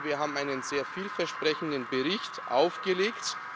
Ich meine, wir haben einen sehr viel versprechenden Bericht aufgelegt.